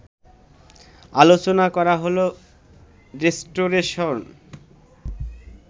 আলোচনা করা হলো- রিস্টোরেশন